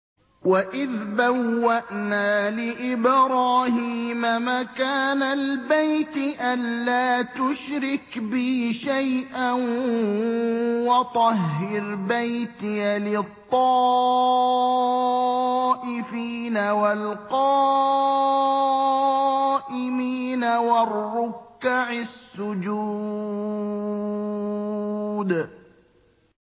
وَإِذْ بَوَّأْنَا لِإِبْرَاهِيمَ مَكَانَ الْبَيْتِ أَن لَّا تُشْرِكْ بِي شَيْئًا وَطَهِّرْ بَيْتِيَ لِلطَّائِفِينَ وَالْقَائِمِينَ وَالرُّكَّعِ السُّجُودِ